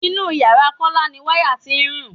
Inú ìyára Kọ́lá ni wáyà tí ń rùn.